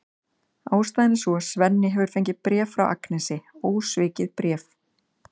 Ástæðan er sú að Svenni hefur fengið bréf frá Agnesi, ósvikið bréf!